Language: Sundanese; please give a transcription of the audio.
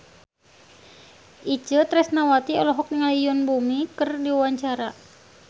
Itje Tresnawati olohok ningali Yoon Bomi keur diwawancara